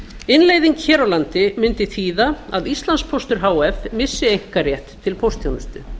innleiðing hér á landi mundi þýða að íslandspóstur h f missi einkarétt til póstþjónusta